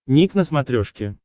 ник на смотрешке